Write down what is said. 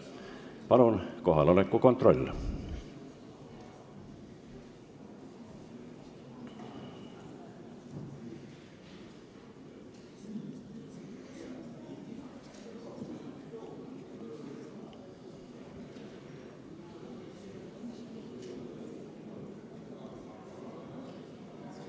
Palun teeme kohaloleku kontrolli!